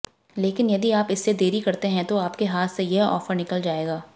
लेकिन यदि आप इससे देरी करते हैं तो आपके हाथ से यह ऑफर निकल जाएगा